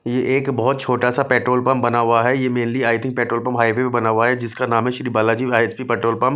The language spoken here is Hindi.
ये एक बहुत छोटा सा पेट्रोल पंप बना हुआ है ये mainly I think petrol pump highway पे बना हुआ है जिसका नाम है श्री बालाजी पेट्रोल पंप --